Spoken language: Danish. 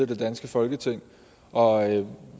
det danske folketing og